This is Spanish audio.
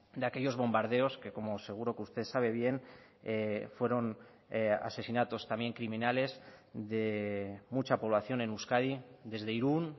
de aquellos bombardeos que como seguro que usted sabe bien fueron asesinatos también criminales de mucha población en euskadi desde irún